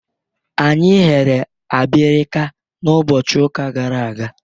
Anyị eghere abirika n'ụbọchị ụka gara aga.